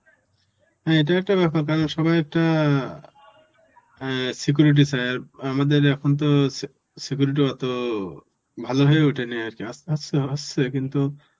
এটাও একটা ব্যাপার কারণ সবাই একটা অ্যাঁ security চায় আর আমাদের এখন তো se~ security অত ভালো হয়ে ওঠেনি আর কি আস্তে আস্তে হচ্ছে কিন্তু,